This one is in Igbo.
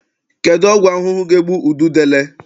Kedụ ọgwụ ahụhụ ga-egbu ududele?